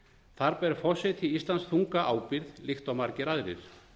þar ber forseti íslands þunga ábyrgð líkt og margir aðrir